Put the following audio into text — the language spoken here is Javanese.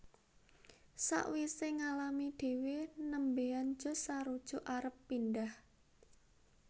Sawise ngalami dhewe nembean Josh sarujuk arep pindhah